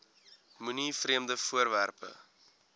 moenie vreemde voorwerpe